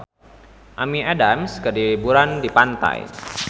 Amy Adams keur liburan di pantai